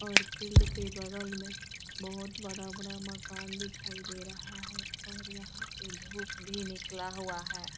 और फील्ड के बगल में बहोत बड़ा-बड़ा मकान दिखाई दे रहा है और यहाँ पे धूप भी निकला हुआ है।